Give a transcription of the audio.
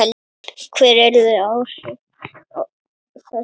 Hver yrðu áhrif þess?